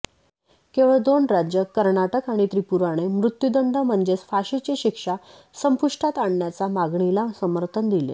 केवळ दोन राज्ये कर्नाटक आणि त्रिपुराने मृत्युदंड म्हणजेच फाशीची शिक्षा संपुष्टात आणण्याच्या मागणीला समर्थन दिले